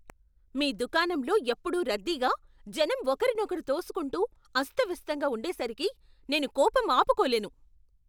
మీ దుకాణంలో ఎప్పుడూ రద్దీగా, జనం ఒకరినొకరు తోసుకుంటూ అస్తవ్యస్తంగా ఉండేసరికి నేను కోపం ఆపుకోలేను.